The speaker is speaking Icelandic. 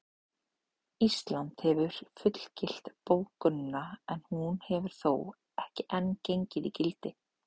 Ísland hefur fullgilt bókunina en hún hefur þó ekki enn gengið í gildi.